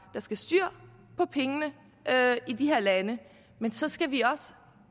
der skal styr på pengene i de her lande men så skal vi også